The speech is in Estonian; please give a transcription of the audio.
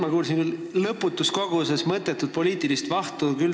No praegu ma kuulsin küll lõputus koguses mõttetut poliitilist vahtu.